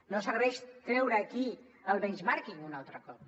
no serveix treure aquí el benchmarking un altre cop